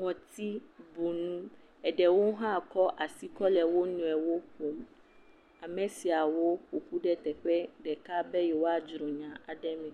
ŋɔtibunu eɖewo hã kɔ asi kɔ le wo nɔewo ƒom. Ame siawo ƒoƒu ɖe teƒe ɖeka be yewoa dzro nya me.